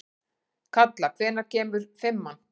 Kalla, hvenær kemur fimman?